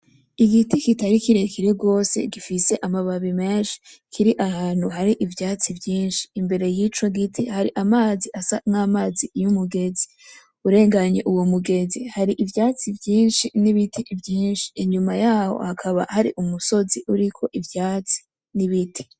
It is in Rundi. Igiti kitari kirekire gose gifise amababi mensi kiri ahantu hari ivyatsi vyinshi, imbere yico giti hari amazi asa n'amazi y'umugezi, urenganye uwo mugezi hari ivyatsi vyinshi n'ibiti vyinshi, inyuma yaho hakaba hari umusozi uriko ivyatsi n'ibiti.